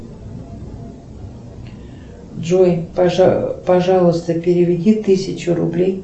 джой пожалуйста переведи тысячу рублей